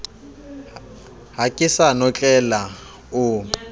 ha ke sa notlela o